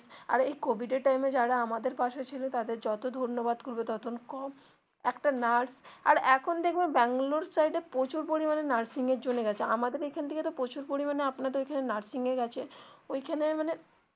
আর এই কোভিড এর time এ যারা আমাদের পাশে ছিল তাদের যত ধন্যবাদ করবো তত কম একটা nurse আর এখন দেখবে ব্যাঙ্গালোর সাইড এ প্রচুর পরিমানে nursing এর জন্য গেছে আমাদের এইখান থেকে তো প্রচুর পরিমানে আপনাদের ঐখানে nursing এ গেছে ঐখানে মানে.